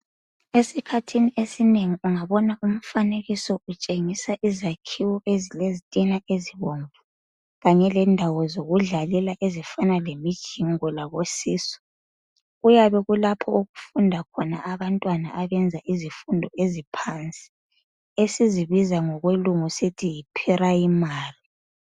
esikhathini esinengi ungabona umfanekiso utshengisa izakhiwo ezilezitina ezibomvu kanye lendawo zokudlalela ezifana lemijingo labo see saw kuyabe kulapho okufunda khona abantwana abayenza izifundo eziphansi esizibiza ngokwelungu sisithi yi primary